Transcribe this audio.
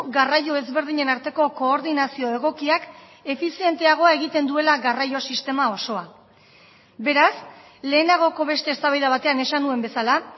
garraio ezberdinen arteko koordinazio egokiak efizienteagoa egiten duela garraio sistema osoa beraz lehenagoko beste eztabaida batean esan nuen bezala